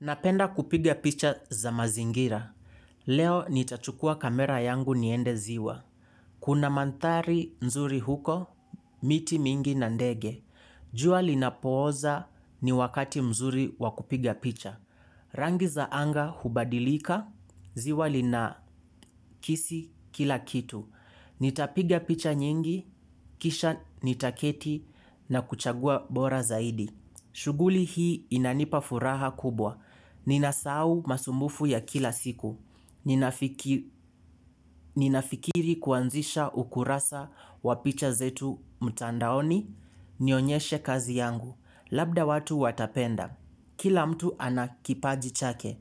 Napenda kupiga picha za mazingira. Leo nitachukua kamera yangu niende ziwa. Kuna manthari nzuri huko, miti mingi na ndege. Jua linapooza ni wakati mzuri wa kupiga picha. Rangi za anga hubadilika, ziwa linakisi kila kitu. Nitapiga picha nyingi, kisha nitaketi na kuchagua bora zaidi. Shughuli hii inanipa furaha kubwa. Ninasahau masumbufu ya kila siku. Ninafikiri kuanzisha ukurasa wa picha zetu mtandaoni. Nionyeshe kazi yangu. Labda watu watapenda. Kila mtu ana kipaji chake.